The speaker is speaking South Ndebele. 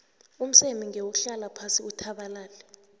umseme ngewuhlala phasi uthabalale